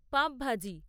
পাভ ভাজি